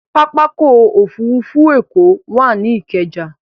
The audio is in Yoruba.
Pápákọ̀ òfurufú Èkó wà ní Ikeja